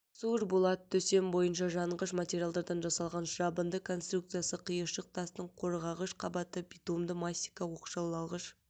сур болат төсем бойынша жанғыш материалдардан жасалған жабынды конструкциясы қиыршық тастың қорғағыш қабаты битумды мастика оқшаулағыш